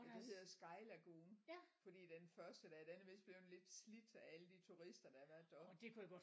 Den hedder Sky Lagoon fordi den første der den er vist blevet lidt slidt af alle de turister der har været deroppe